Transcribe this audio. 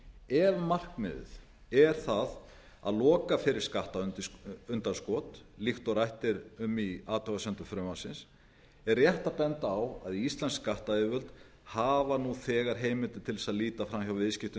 ef markmiðið er að loka fyrir skattundanskot líkt og rætt er um í athugasemdum frumvarpsins er rétt að benda á að íslensk skattyfirvöld hafa nú þegar heimildir til þess að líta fram hjá viðskiptum